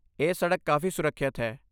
ਇਹ ਸੜਕ ਕਾਫ਼ੀ ਸੁਰੱਖਿਅਤ ਹੈ।